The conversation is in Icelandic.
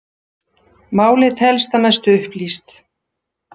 Málið telst að mestu upplýst